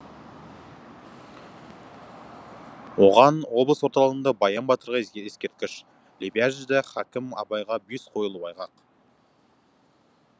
оған облыс орталығында баян батырға ескерткіш лебяжіде хакім абайға бюст қойылуы айғақ